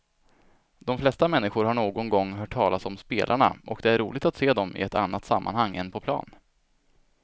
De flesta människor har någon gång hört talas om spelarna och det är roligt att se dem i ett annat sammanhang än på plan.